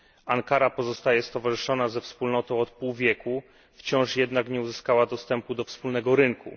Ankara pozostaje stowarzyszona ze Wspólnotą od pół wieku, wciąż jednak nie uzyskała dostępu do wspólnego rynku.